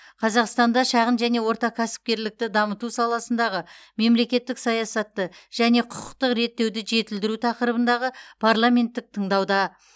қазақстанда шағын және орта кәсіпкерлікті дамыту саласындағы мемлекеттік саясатты және құқықтық реттеуді жетілдіру тақырыбындағы парламенттік тыңдауда